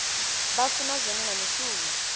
vha funa zwone na mishumo